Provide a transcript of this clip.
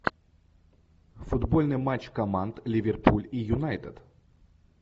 футбольный матч команд ливерпуль и юнайтед